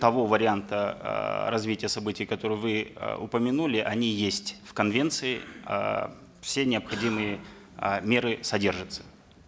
того варианта э развития событий которые вы э упомянули они есть в конвенции э все необходимые э меры содержатся